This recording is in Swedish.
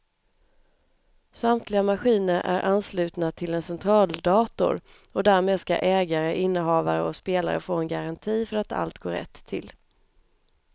Samtliga maskiner är anslutna till en centraldator och därmed ska ägare, innehavare och spelare få en garanti för att allt går rätt till.